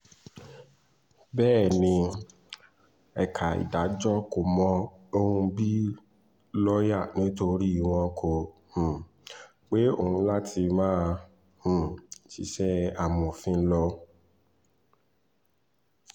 bẹ́ẹ̀ ni ẹ̀ka ìdájọ́ kò mọ òun bíi lọ́ọ̀yà nítorí wọn kò um pe òun láti máa um ṣiṣẹ́ amòfin lọ